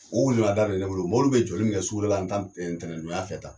O welenada de be ne bolo. Mobili bɛ jɔli min kɛ suguda la ntan ntɛnɛn tɛnɛndonya fɛ tan